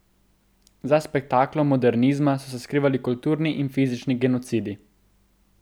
Za spektaklom modernizma so se skrivali kulturni in fizični genocidi.